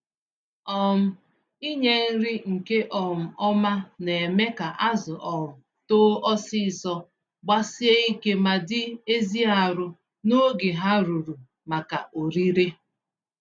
um Inye nri nke um ọma némè' ka azụ um too ọsịsọ, gbasie ike ma dị ezi arụ n'oge ha ruru maka orire